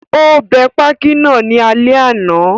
Ó bẹ pákí náà ní alẹ́ àná